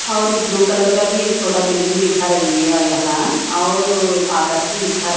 और blue colour का भी एक छोटा बिल्डिंग दिख रही है यहां और आकाश भी दिखा--